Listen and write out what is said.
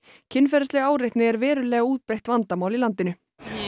kynferðisleg áreitni er verulega útbreitt vandamál í landinu